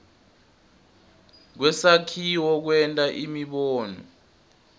kwesakhiwo kwenta imibono